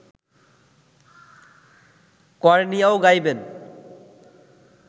কর্ণিয়াও গাইবেন